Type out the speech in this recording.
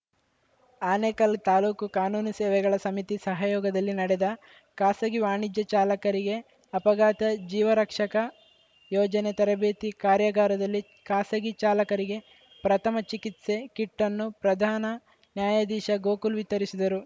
ಆನೇಕಲ್‌ ತಾಲೂಕು ಕಾನೂನು ಸೇವೆಗಳ ಸಮಿತಿ ಸಹಯೋಗದಲ್ಲಿ ನಡೆದ ಖಾಸಗಿ ವಾಣಿಜ್ಯ ಚಾಲಕರಿಗೆ ಅಪಘಾತ ಜೀವ ರಕ್ಷಕ ಯೋಜನೆ ತರಬೇತಿ ಕಾರ್ಯಾಗಾರದಲ್ಲಿ ಖಾಸಗಿ ಚಾಲಕರಿಗೆ ಪ್ರಥಮ ಚಿಕಿತ್ಸೆ ಕಿಟ್‌ಅನ್ನು ಪ್ರಧಾನ ನ್ಯಾಯಾಧೀಶ ಗೋಕುಲ್‌ ವಿತರಿಸಿದರು